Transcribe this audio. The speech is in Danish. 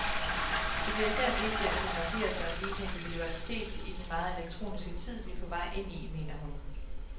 Det bliver især vigtigt at kunne markere sig, vise individualitet, i den meget elektroniske tid, vi er på vej ind i, mener hun.